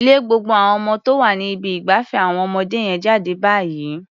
Lé gbogbo àwon ọmọ tó wà ní ibi ìgbafẹ́ àwọn ọmọdé yẹn jáde báyìí.